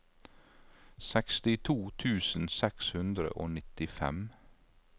sekstito tusen seks hundre og nittifem